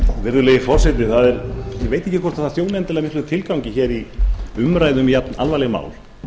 virðulegi forseti ég veit ekki hvort það þjónar endilega miklum tilgangi hér í umræðum um jafn alvarleg mál